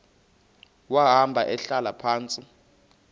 wahamba ehlala phantsi